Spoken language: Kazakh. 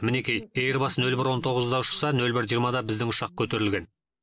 мінекей эйрбас нөл бір он тоғызда ұшса нөл бір жиырмада біздің ұшақ көтерілген